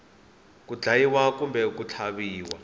ku dlayiwa kumbe ku tlhaviwa